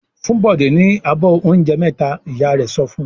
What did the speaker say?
"Fún Bọ̀dé ní abọ́ oúnjẹ mẹ́ta!" Ìyá rẹ̀ sọ fún un.